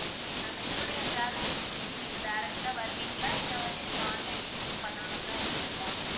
okay ma'am எங்களுடைய travel agency க்கு நீங்க direct ஆ வருவீங்களா இல்ல வந்து நீங்க online booking பண்ணனும்ன்னு தான் இருக்கீங்களா?